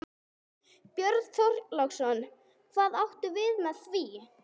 Björn Þorláksson: Hvað áttu við með því?